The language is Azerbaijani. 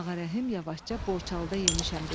Ağarəhim yavaşca borçalıda yemişəm dedi.